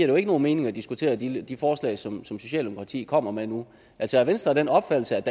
jo ikke nogen mening at diskutere de de forslag som socialdemokratiet kommer med nu altså er venstre af den opfattelse